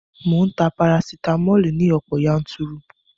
Mò ń ta parasitamoli ní ọ̀pọ̀ yanturu